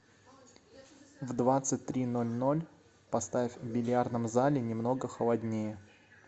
в двадцать три ноль ноль поставь в бильярдном зале немного холоднее